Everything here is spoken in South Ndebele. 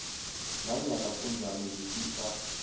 nanyana kunjalo ngifisa